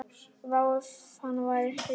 Vá, ef hann væri hrífan!